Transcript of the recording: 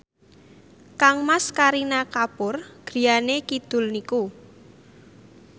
kangmas Kareena Kapoor griyane kidul niku